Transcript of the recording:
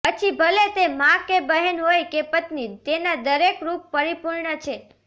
પછી ભલે તે માં કે બહેન હોય કે પત્ની તેના દરેક રૂપ પરિપૂર્ણ છે